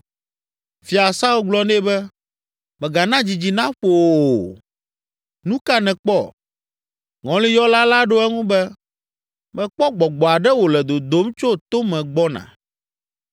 Fia Saul gblɔ nɛ be, “Mègana dzidzi naƒo wò o! Nu ka nèkpɔ?” Ŋɔliyɔla la ɖo eŋu be, “Mekpɔ gbɔgbɔ aɖe wòle dodom tso tome gbɔna.”